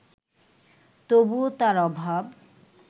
তবুও তার অভাব